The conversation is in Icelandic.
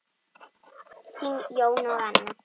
Þín, Jón og Anna.